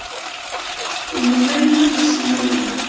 Ég mun reyna að sýna meira.